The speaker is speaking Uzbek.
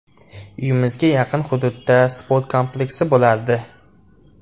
Uyimizga yaqin hududda sport kompleksi bo‘lardi.